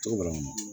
Cogo dɔ la